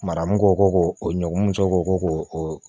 Maramu ko ko o ɲɔgɔnmuso ko ko o